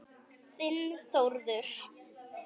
Þinn Þórður.